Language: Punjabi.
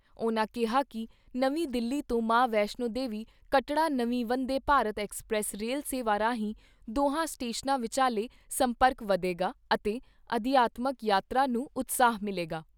ਉਨ੍ਹਾਂ ਕਿਹਾ ਕਿ ਨਵੀਂ ਦਿੱਲੀ ਤੋਂ ਮਾਂ ਵੈਸ਼ਨੋ ਦੇਵੀ ਕੱਟੜਾ ਨਵੀਂ ਵੰਦੇ ਭਾਰਤ ਐਕਸਪ੍ਰੈਸ ਰੇਲ ਸੇਵਾ ਰਾਹੀਂ ਦੋਹਾਂ ਸਟੇਸ਼ਨਾਂ ਵਿਚਾਲੇ ਸੰਪਰਕ ਵਧੇਗਾ ਅਤੇ ਅਧਿਆਤਮਕ ਯਾਤਰਾ ਨੂੰ ਉਤਸ਼ਾਹ ਮਿਲੇਗਾ।